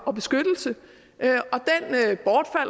og beskyttelse